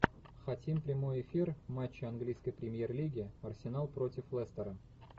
хотим прямой эфир матча английской премьер лиги арсенал против лестера